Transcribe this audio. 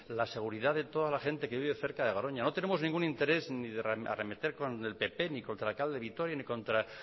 la seguridad de toda la gente que vive cerca de garoña no tenemos ningún interés ni de arremeter con el pp ni contra el alcalde vitoria ni contra